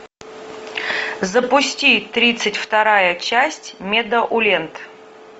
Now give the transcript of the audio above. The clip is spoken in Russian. запусти тридцать вторая часть медоуленд